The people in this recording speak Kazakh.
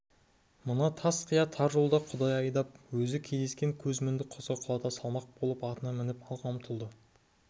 мына тас қия тар жолда құдай айдап өзі кездескен көзмінді құзға құлата салмақ болып атына мініп алға ұмтылды